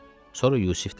Sonra Yusif dedi: